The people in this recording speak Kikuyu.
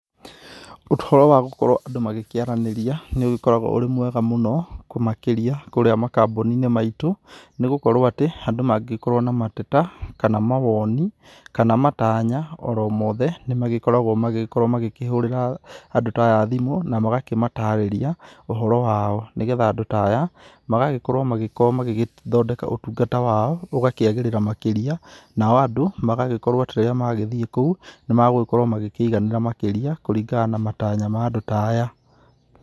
Ũhoro wa gũkorwo andũ magĩkĩaranĩria nĩ ũgĩkoragwo ũrĩ mwega mũno, makĩria kũrĩa makambuninĩ maitũ. Nĩ gũkorwo atĩ, andũ mangĩkorwo na mateta, kana mawoni, kana matanya oromothe, nĩmagĩkoragwo magĩgĩkorwo magĩkĩhũrĩra andũ ta aya thimũ na magakĩmatarĩria ũhoro wao. Nĩgetha andũ ta aya, magagĩkorwo magĩkorwo magĩgĩthondeka ũtungata wao, ũgakĩagĩrĩra makĩria, nao andũ magagĩkorwo atĩ rĩrĩa magĩthie kũu, nimagũgĩkorwo magĩkĩiganĩra makĩria kũringana na matanya ma andũ ta aya.